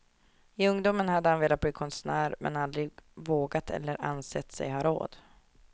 I ungdomen hade han velat bli konstnär, men aldrig vågat eller ansett sig ha råd.